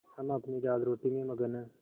हम अपनी दालरोटी में मगन हैं